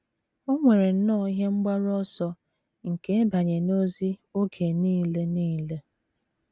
O nwere nnọọ ihe mgbaru ọsọ nke ịbanye n’ozi oge nile nile.